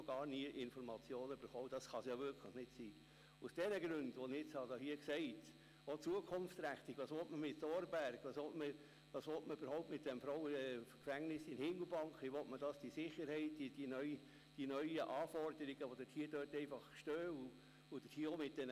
Schliesslich wurde das Handtuch geworfen und das Frauengefängnis nicht wie von der Regierung gewollt nach Witzwil verschoben.